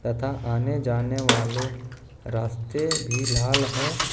तथा आने जाने वाले रास्ते भी लाल है।